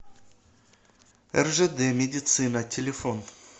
ржд медицина телефон